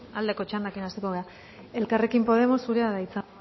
aldeko txandarekin hasiko gara elkarrekin podemos zurea da hitza